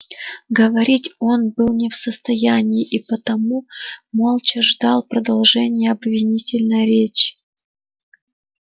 говорить он был не в состоянии и потому молча ждал продолжения обвинительной речи